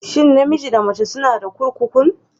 Shin namiji da mace suna da kurkukun?